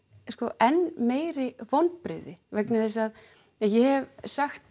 enn meiri vonbrigði vegna þess að ég hef sagt